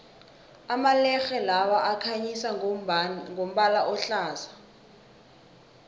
amalerhe lawa akhanyisa ngombala ohlaza